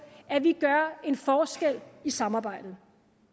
at vi gør en forskel i samarbejdet